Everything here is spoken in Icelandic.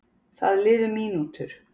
Það liðu mínútur.